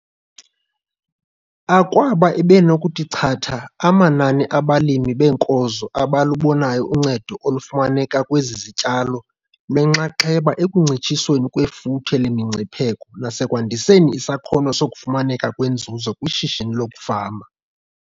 Akwaba ebenokuthi chatha amanani abalimi beenkozo abalubonayo uncedo olufumaneka kwezi zityalo lwenxaxheba ekuncitshisweni kwefuthe lemingcipheko nasekwandiseni isakhono sokufumaneka kwenzuzo kwishishini lokufama.